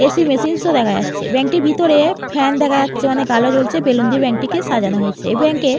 AC. Machines ও দেখা যাচ্ছে ব্যাঙ্ক -টির ভিতরে-এ ফ্যান দেখা যাচ্ছে অনেক আলো আছে বেলুন দিয়ে ব্যাঙ্ক -টিকে সাজানো হয়েছে এই ব্যাঙ্ক এ --